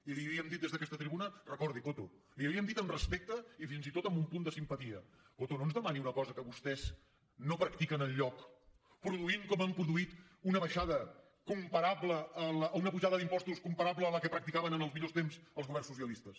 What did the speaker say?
i li hem dit des d’aquesta tribuna recordi ho coto li ho havíem dit amb respecte i fins i tot amb un punt de simpatia coto no ens demani una cosa que vostès no practiquen enlloc produint com han produït una pujada d’impostos comparable a la que practicaven en els millors temps els governs socialistes